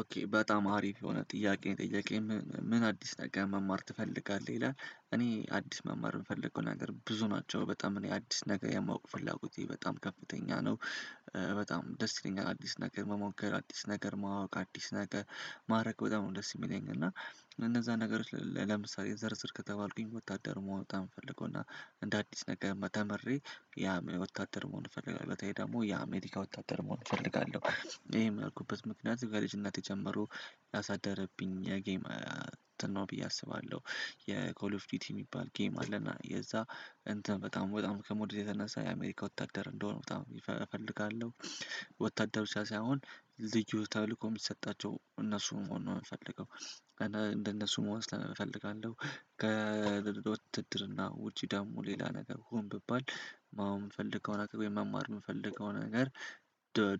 ኦኬ በጣም አሪፍ የሆነ ጥያቄ ጠየቅከኝ ምን አዲስ ነገር መማር ትፈልጋለህ ይላል እኔ አዲስ መማር የምፈልገው ነገር ብዙ ናቸው በጣም እኔ አዲስ ነገር የማውቅ ፍላጎቴ በጣም ከፍተኛ ነው። በጣም ደስ ይለኛል አዲስ ነገር መሞከር አዲስ ነገር ማወቅ አዲስ ነገር ማራግ በጣም ደስ የሚለኝ እና። እነዛ ነገሮች ለምሳሌ ዘርዝር ከተባልኩኝ ወታደር መሆን በጣም ነ እምፈልገው እና እንደ አዲስ ነገር መተምሬ ያ ወታደር መሆን እፈልጋለሁ በተለይ ደግሞ ያ አሜሪካ ወታደር መሆን እፈልጋለሁ። ይሄ ምን አልኩበት ምክንያት ጋር ልጅ እናት ጀመሩ ያሳደረብኝ የጌም ነው ብዬ አስባለሁ። የኮል ኦፍ ዲቲ የሚባል ጌም አለ እና የዛ እንትን በጣም በጣም ከመውደዴ የተነሳ የአሜሪካ ወታደር እንደሆነ በጣም እፈልጋለሁ። ወታደር ብቻ ሳይሆን ልዩ ተልእኮ የሚሰጣቸው እነሱን መሆን ነው የምፈልገው። እንደነሱን መሆን እፈልጋለሁ። ከውድድር እና ውጪ ደግሞ ሌላ ነገር ሆን ብባል ማውም እፈልግም አላውቅም መማር የምፈልገው ነገር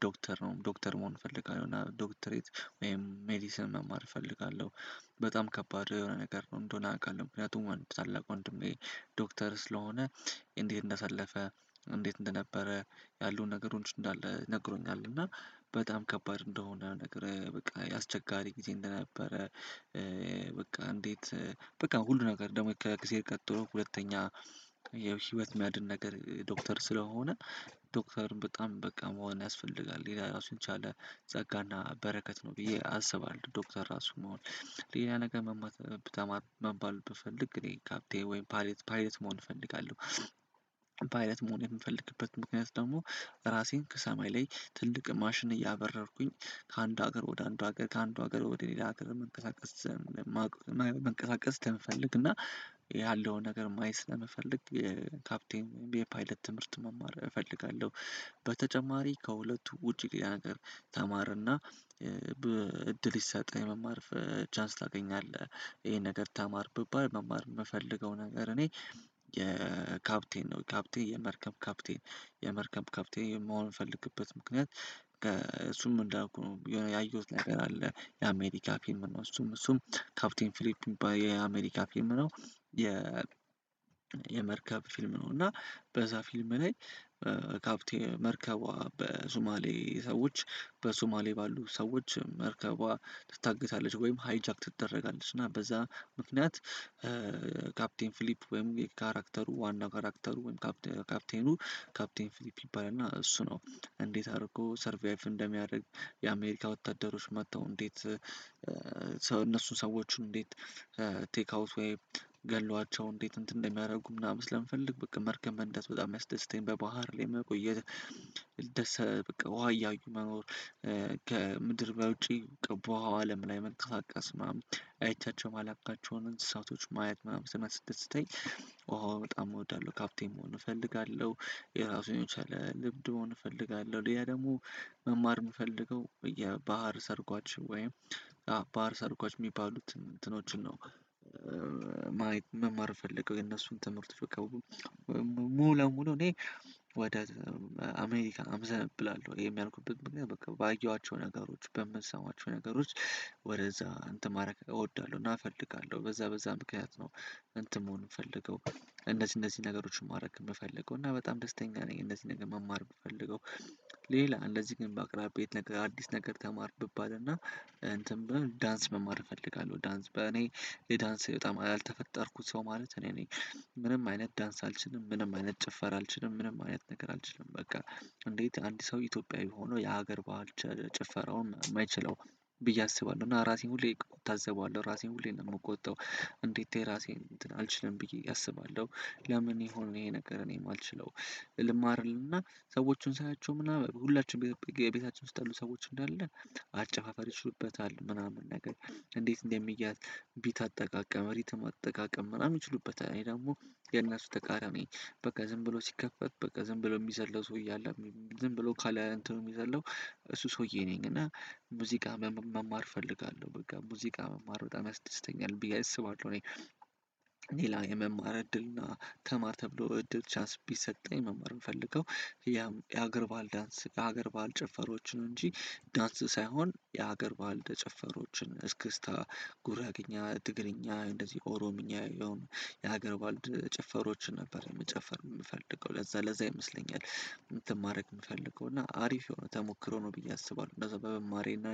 ዶክተር ነው ዶክተር መሆን እፈልጋለሁ እና ዶክተሬት ወይም ሜዲሲን መማር እፈልጋለሁ። በጣም ከባድ የሆነ ነገር ነው እንደሆነ አውቃለሁ ምክንያቱም ወንድ ታላቅ ወንድሜ ዶክተር ስለሆነ። እንዲህ እንዳሳለፈ እንዴት እንደነበረ ያሉን ነገር እንደሆነ ነግሮኛል እና በጣም ከባድ እንደሆነ ነገር በቃ ያስቸጋሪ ጊዜ እንደነበረ። በቃ እንዴት በቃ ሁሉ ነገር ደግሞ ከክሴር ቀጥሎ ሁለተኛ የህይወት ማዕድን ነገር ዶክተር ስለሆነ ዶክተር በጣም በቃ መሆን ያስፈልጋል የራሱን ቻለ ጸጋና በረከት ነው ብዬ አስባለሁ። ዶክተር ራሱ መሆን ሌላ ነገር መባል ብታማር መባል ብትፈልግ ግን ይሄ ካፕቴ ወይም ፓይሌት ፓይለት መሆን እፈልጋለሁ። ፓይለት መሆን የምፈልግበት ምክንያት ደግሞ ራሴን ከሰማይ ላይ ትልቅ ማሽን እያበረርኩኝ ከአንድ ሀገር ወደ አንድ ሀገር ከአንድ ሀገር ወደ እኔ ለሀገር መንቀሳቀስ መንቀሳቀስ ስለምፈልግ እና ያለውን ነገር ማየት ስለምፈልግ ካፕቴን የፓይለት ትምህርት መማር እፈልጋለሁ። በተጨማሪ ከሁለቱ ውጪ ቅድም ነገር ተማረና እድል ይሳጣል መማር ቻንስ ታገኛለህ ይሄን ነገር ታማር ቢባል መማር የምፈልገው ነገር እኔ የካፕቴን ነው ካፕቴ የመርከብ ካፕቴን የመርከብ ካፕቴ የመሆን ፈልግበት ምክንያት። እሱም እንደነበርኩ የሆነ ያየሁት ነገር አለ ያሜዲ ፊም ነው እሱም እሱም ካፕቲን ፊሊፕ ባየ የአሜሪካ ፊም ነው። የመርከብ ፊልም ነው እና በዛ ፊልም ነኝ ካፕቴን መርከቧ በሱማሌ ሰዎች በሱማሌ ባሉ ሰዎች መርከቧ ትታግታለች ወይም ሃይጃክ ትደረጋለች እና በዛ ምክንያት። ካፕቴን ፊሊፕ ወይም የካራክተሩ ዋናው ካራክተሩ ወይም ካፕቴኑ ካፕቴን ፊሊፕ እና እሱ ነው እንዴት አድርጎ ሰርቫይቭ እንደሚያደርግ የአሜሪካ ወታደሮች መጥተው እንዴት እነሱን ሰዎችን እንዴት ቴክ አውት ወይ ገሏቸው እንዴት እንትን እንደሚያደርጉ ምናምን ስለምፈልግ በቃ መርከብ በእንደዚህ በጣም ያስደስተኛል በባህር ላይ መቆየት። ደስ በቃ ውሃ እያዩ መኖር ከምድር በውጪ ቀበው አለም ላይ መንፈሳቀስ ማም አይቻቸው ማላካቸውን እንስሳቶች ማየት ምናምን ስናስተስተኝ ውሃው በጣም እወዳለሁ። ካፕቴም መሆን እፈልጋለሁ የራሱን ቻለ ልብድ ሆነ እፈልጋለሁ ለያ ደግሞ መማር የምፈልገው የባህር ሰርጓች ወይም ሰርጓች የሚባሉትን እንትኖችን ነው። መማር እምፈልገው የነሱን ትምህርት በቃ ሙሉ ለሙሉ እኔ ወደ አሜሪካ አምዘን ብላለሁ የሚያልኩበት በቃ ባየኋቸው ነገሮች በምንሰማቸው ነገሮች ወደዛ እንትን ማድረግ እወዳለሁ እና እፈልጋለሁ በዛ በዛ ምክንያት ነው። እንትን መሆን የምፈልገው እነዚህ እነዚህ ነገሮችን ማድረግ ብፈልገው እና በጣም ደስተኛ ነኝ እነዚህ ነገር መማር ብፈልገው። ሌላ እንደዚህ ግን በአቅራቢ አዲስ ነገር ብባልና እንትን ብሎ ዳንስ መማር እፈልጋለሁ ዳንስ በእኔ የዳንስ በጣም ያልተፈጠርኩት ሰው ማለት እኔ እኔ ምንም አይነት ዳንስ አልችልም ምንም አይነት ጭፈራ አልችልም ምንም አይነት ነገር አልችልም በቃ እንዴት አንድ ሰው ኢትዮጵያዊ ሆኖ የሀገር ባህል ጭፈራውን የማይችለው ብዬ አስባለሁ እና ራሴን ሁሌ እታዘበዋለሁ ራሴን ሁሌ ነው የምቆጠው እንዴት የራሴን እንትን አልችልም ብዬ አስባለሁ። ለምን የሆነ ይሄ ነገር እኔም የማልችለው ልማር እልና እና ሰዎቹን ሳያቸው ምናምን ሁላችንም ቤታችን ውስጥ ያሉ ሰዎች እንዳለ አጨፋፋሪ ይችሉበታል ምናምን ነገር እንዴት እንደሚያዝ ቢት አጠቃቀም ሪትም አጠቃቀም ምናምን ይችሉበታል እኔ ደግሞ የእነሱ ተቃራኒ በቃ ዝም ብሎ ሲከፈት በቃ ዝም ብለው የሚዘለው ሰውዬ አለ ዝም ብለው ካለ እንትኑ የሚዘለው እሱ ሰውዬ ነኝ እና ሙዚቃ መማር እፈልጋለሁ በቃ ሙዚቃ መማር በጣም ያስደስተኛል። ብዬ አይስባለሁ እኔ ሌላ የመማር እድልና ተማር ተብሎ እድል ቻንስ ቢሰጠኝ መማር የምፈልገው ያም የሀገር ባል ዳንስ የሀገር ባል ጭፈሮች ነው እንጂ ዳንስ ሳይሆን የሀገር ባህል ደጨፈሮችን እስክስታ ጉራ ያገኘ እትግርኛ እንደዚህ ኦሮምኛ የሆነ የሀገር ባልድ ጭፈሮችን ነበር የምጨፍር የምፈልገው ለዛ ለዛ ይመስለኛል። ማድረግ የምፈልገው እና አሪፍ ሆኖ ተሞክሮ ነው ብዬ አስባለሁ እንደዛ በመማሬና